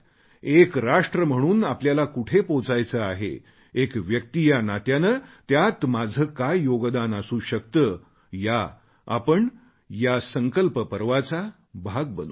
एक राष्ट्र म्हणून आपल्याला कुठे पोहोचायचे आहे एक व्यक्ती या नात्याने त्यात माझे काय योगदान असू शकते आपण या संकल्प पर्वाचा भाग बनू